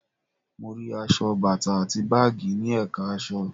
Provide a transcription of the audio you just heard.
Mo rí aṣọ, bàtà àti báàgì ní ẹ̀ka aṣọ